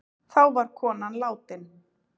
Þá var konan látin.